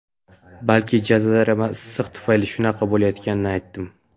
balki jazirama issiq tufayli shunaqa bo‘layotganini aytdim.